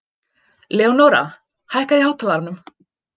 Leónóra, hækkaðu í hátalaranum.